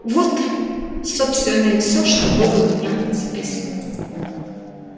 вот собственно и всё что было у меня записано